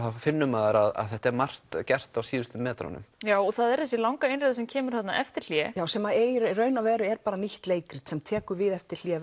þá finnur maður að þetta er margt gert á síðustu metrunum já og það er þessi langa einræða sem kemur eftir hlé já sem er í rauninni nýtt leikrit sem tekur við eftir hlé